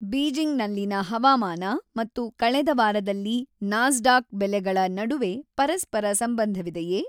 ಬೀಜಿಂಗ್‌ನಲ್ಲಿನ ಹವಾಮಾನ ಮತ್ತು ಕಳೆದ ವಾರದಲ್ಲಿ ನಾಸ್ಡಾಕ್ ಬೆಲೆಗಳ ನಡುವೆ ಪರಸ್ಪರ ಸಂಬಂಧವಿದೆಯೇ?